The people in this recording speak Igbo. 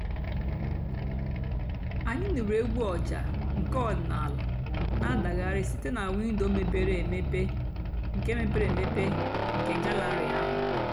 ányị́ nụ́rụ́ ègwú ọ̀jà́ nkè ọ̀dị́náàlà nà-àdàghàrị́ sìté nà wìndò mépèré èmépe nkè mépèré èmépe nkè gàllèrị́ àhú́.